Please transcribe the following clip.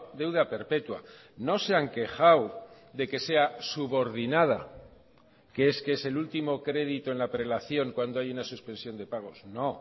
deuda perpetua no se han quejado de que sea subordinada que es que es el último crédito en la prelación cuando hay una suspensión de pagos no